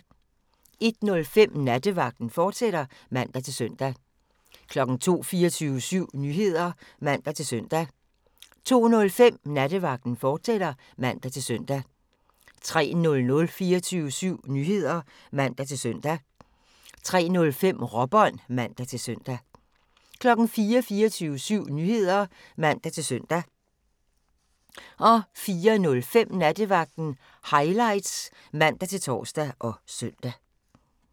01:05: Nattevagten, fortsat (man-søn) 02:00: 24syv Nyheder (man-søn) 02:05: Nattevagten, fortsat (man-søn) 03:00: 24syv Nyheder (man-søn) 03:05: Råbånd (man-søn) 04:00: 24syv Nyheder (man-søn) 04:05: Nattevagten Highlights (man-tor og søn)